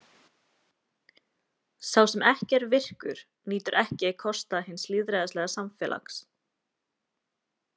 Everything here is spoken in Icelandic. Sá sem ekki er virkur nýtur ekki kosta hins lýðræðislega samfélags.